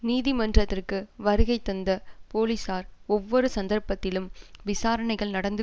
நீதிமன்றத்திற்கு வருகைதந்த போலிசார் ஒவ்வொரு சந்தர்ப்பத்திலும் விசாரணைகள் நடந்து